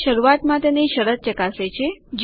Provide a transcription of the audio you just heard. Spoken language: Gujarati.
તે શરૂઆત માટેની શરત ચકાસે છે